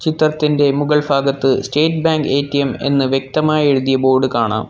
ചിത്രത്തിൻ്റെ മുകൾ ഫാഗത്ത് സ്റ്റേറ്റ് ബാങ്ക് എ_റ്റി_എം എന്ന് വ്യക്തമായി എഴുതിയ ബോർഡ് കാണാം.